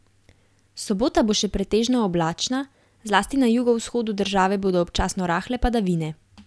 Sobota bo še pretežno oblačna, zlasti na jugovzhodu države bodo občasno rahle padavine.